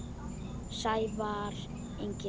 Sævar Ingi.